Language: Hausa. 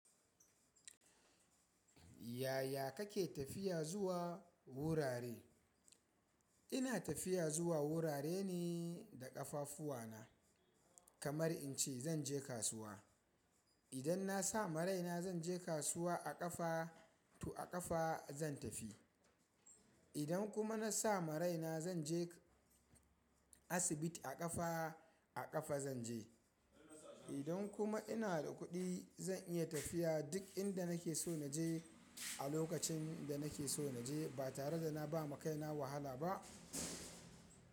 Yaya kake tafiya zuwa wurare? Ina tafiya zuwa wurare ne da ƙafafuwa na. Kamar in ce zan je kasuwa. Idan na sa ma raina zan je kasuwa a ƙafa, to a ƙafa zan tafi. Idan kuma na sa ma raina zan je asibiti a ƙafa, a ƙafa zan je. Idan kuma ina da kuɗi zan iya tafiya duk inda nake so na je a lokacin da nake so na je ba tare da na ba ma kaina wahala ba.